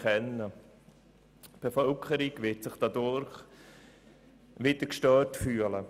Die Bevölkerung wird sich dadurch wieder gestört fühlen.